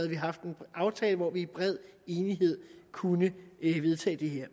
vi haft en aftale hvor vi i bred enighed kunne vedtage det her